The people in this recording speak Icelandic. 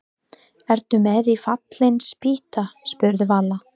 Ertu með í Fallin spýta? spurði Vala.